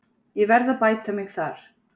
Ég verð að bæta mig þar.